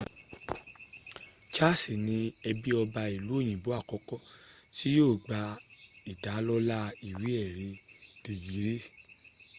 charles ní ẹbí ọba ìlú òyìnbó àkọ́kọ́ tí yóò gba ìdálọ́lá ìwé èrí dègírì